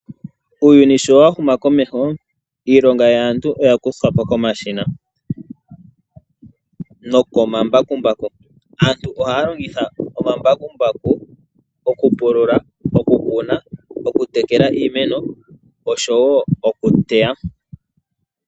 Uuyuni shi wa huma komeho, iilonga yaantu oya kuthwa po komashina nokomambakumbaku. Aantu ohaya longitha omambakumbaku okupulula, oku kuna, okutekela iimeno osho wo okuteya.